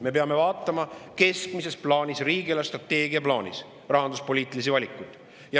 Me peame vaatama rahanduspoliitilisi valikuid keskmises plaanis, riigi eelarvestrateegia plaanis.